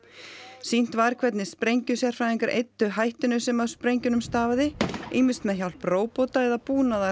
sýnt var hvernig sprengjusérfræðingar eyddu hættunni sem af sprengjunum stafaði ýmist með hjálp róbóta eða búnaðar